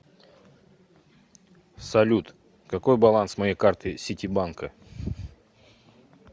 салют какой баланс моей карты ситибанка